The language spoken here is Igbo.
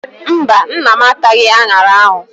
Mba, nna m ataghị aṅara ahụ.